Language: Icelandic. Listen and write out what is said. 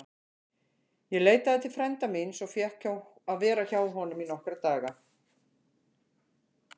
Ég leitaði til frænda míns og fékk að vera hjá honum í nokkra daga.